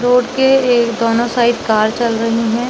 Road के ए दोनों साइड कार चल रही है।